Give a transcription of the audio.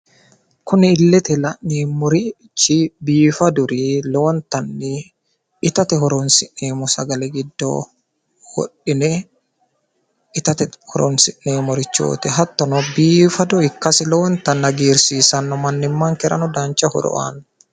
kuni illete la'neemmori biifadurichi lowontanni itate horonsi'neemmo sagale giddo wodhine itate horonsineemmorichooti hattono mannimmankera lowo horo aanno.